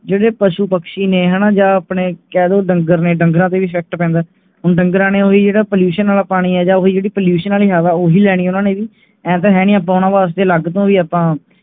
ਜਿਹੜੇ ਪਾਸੁ ਪੰਛੀ ਨੇ ਹੈਨਾ ਜਾ ਅਪਣੇ ਕਹਿ ਦੋ ਡੰਗਰ ਨੇ, ਡੰਗਰਾਂ ਤੇ effect ਪੈਂਦਾ ਹੈ ਉਹਨ ਡੰਗਰਾਂ ਨੇ ਵੀ pollution ਵਾਲਾ ਪਾਣੀ ਉਹੀ ਲੈਣੀ ਜਾ pollution ਵਾਲਾ ਹਵਾ ਉਹੀ ਲੈਣਾ ਉਹਨਾਂ ਨੇ ਵੀ ਇਹ ਤਾਂ ਹੈ ਨਹੀਂ ਕਿ ਉਹਨਾਂ ਵਾਸਤੇ ਅਲੱਗ ਤੋਂ ਵੀ ਆਪਾ